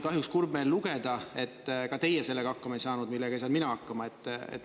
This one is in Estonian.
Kahjuks oli kurb meel lugeda, et ka teie sellega hakkama ei saanud, millega ei saanud mina hakkama.